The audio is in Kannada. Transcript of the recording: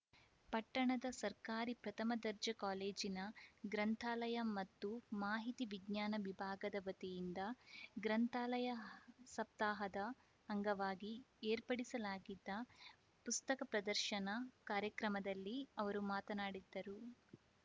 ಪಟ್ಟಣದ ಸರ್ಕಾರಿ ಪ್ರಥಮ ದರ್ಜೆ ಕಾಲೇಜಿನ ಗ್ರಂಥಾಲಯ ಮತ್ತು ಮಾಹಿತಿ ವಿಜ್ಞಾನ ವಿಭಾಗದ ವತಿಯಿಂದ ಗ್ರಂಥಾಲಯ ಸಪ್ತಾಹದ ಅಂಗವಾಗಿ ಏರ್ಪಡಿಸಲಾಗಿದ್ದ ಪುಸ್ತಕ ಪ್ರದರ್ಶನ ಕಾರ್ಯಕ್ರಮದಲ್ಲಿ ಅವರು ಮಾತನಾಡಿದ್ದರು